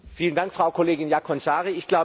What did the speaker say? Vielen Dank, Frau Kollegin Jaakonsaari.